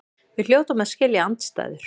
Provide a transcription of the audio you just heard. Við hljótum að skilja andstæður.